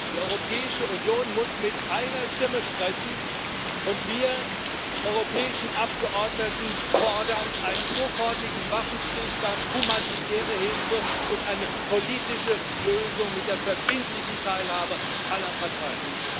Die Europäische Union muss mit einer Stimme sprechen, und wir europäischen Abgeordneten fordern einen sofortigen Waffenstillstand, humanitäre Hilfe und eine politische Lösung mit der verbindlichen Teilhabe aller Parteien.